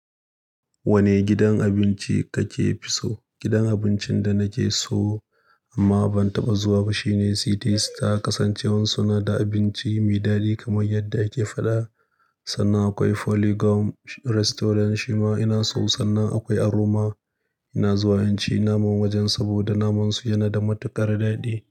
Wani gidan abinci kake so? Gidan abincin da nake so, amma ban taɓa zuwa ba shine City star. Ta kasance wai suna da abinci mai daɗi kamar yadda ake faɗa. Sannan akwai Polygon Restaurant shima ina so. Sannan akwai Aroma. Ina zuwa in ci naman wajen, saboda naman su yana da matuƙar daɗi.